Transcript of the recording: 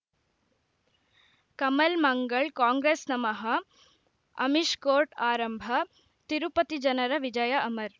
ಕಮಲ್ ಮಂಗಳ್ ಕಾಂಗ್ರೆಸ್ ನಮಃ ಅಮಿಷ್ ಕೋರ್ಟ್ ಆರಂಭ ತಿರುಪತಿ ಜನರ ವಿಜಯ ಅಮರ್